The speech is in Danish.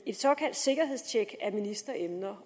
et såkaldt sikkerhedstjek af ministeremner